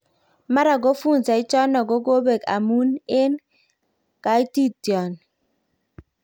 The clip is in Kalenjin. Mara ko funza ichano kokopek amun en katitinan